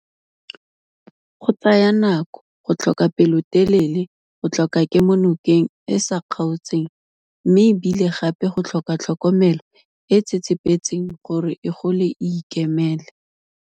Go tsaya nako, go tlhoka pelotelele, go tlhoka kemonokeng e e sa kgaotseng mme e bile gape go tlhoka tlhokomelo e e tsetsepetseng gore e gole e ikemele.